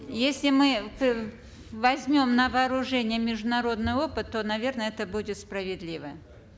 если мы возьмем на вооружение международный опыт то наверно это будет справедливо